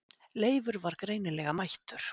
Leifur var greinilega mættur.